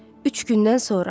Üç gündən sonra.